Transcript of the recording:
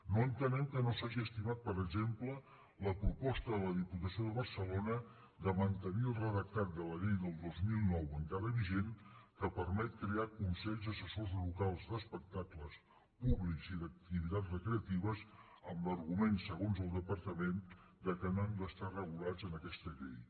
no entenem que no s’hagi estimat per exemple la proposta de la diputació de barcelona de mantenir el redactat de la llei del dos mil nou encara vigent que permet crear consells assessors locals d’espectacles públics i d’activitats recreatives amb l’argument segons el departament que no han d’estar regulats en aquesta llei